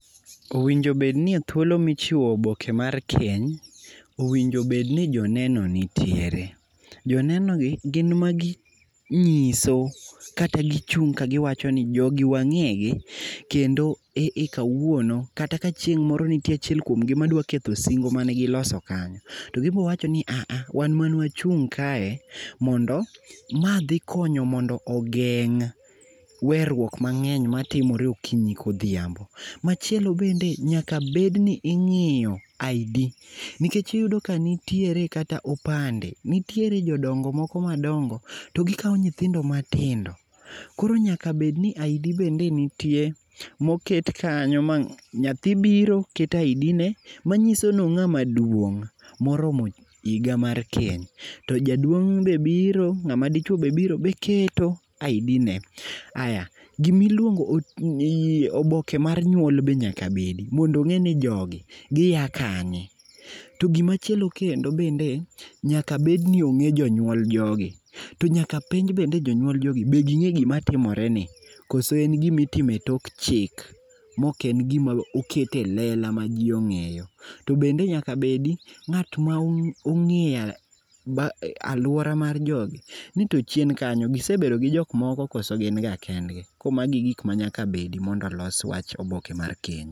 Owinjo obedni ni e thuolo michiwo oboke mar keny, owinjo obedni joneno nitiere. Joneno gi gin magi nyiso kata gichung ka giwachoni jogi wangegi kendo e kawuono kata ka chieng moro nitie achiel kuomgi madwa ketho singo mane giloso kanyo, togibo wachoni aha, wan mane wachung kae mondo ,ma dhi konyo mondo ogeng werruok mangeny matimore okinyi godhiambo. Machielo bende nyaka bed ni ingiyo ID, nikech iyudo ka nitiere kata opande, nitiere jodongo moko madongo to gikao nyithindo matindo .Koro nyaka bed ni ID be nitie moket kanyo, nyathi biro keto ID ne manyisoni ongama duong moromo higa mar keny. To jaduong be biro, Ngama dichuo be biro, be keto ID ne. Aya, gima iluong, oboke mar nyuol be nyaka bedi mondo ongeni jogi gia kanye. To gimachielo kendo bende nyaka bedni onge jonyuol jogi to nyaka penj jonyuol jogi be ginge gima timore ni koso en gima itimo e tok chik moken gima oket e lela ma jii ongeyo. Tobende nyaka obedi ngat ma ongeyo, aluora mar jogi ti to chien kanyo gisebedo gi jok moko koso gin ga kendgi. Koro mago e gikma nyaka bedi mondo olos oboke mar keny